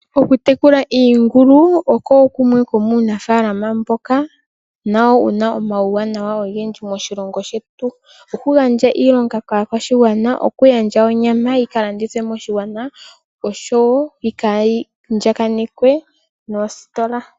Okutekula iingulu oko kumwe komuunafaalama mboka nawo wuna omauwanawa ogendji moshilongo shetu, oku gandja iilonga kaakwashigwana, oku gandja onyama yi ka landithwe moshigwana oahowo yika andjaganekwe noositola.